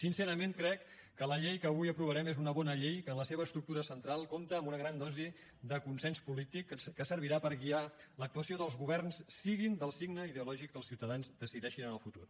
sincerament crec que la llei que avui aprovarem és una bona llei que en la seva estructura central compta amb una gran dosi de consens polític que servirà per guiar l’actuació dels governs siguin del signe ideològic que els ciutadans decideixin en el futur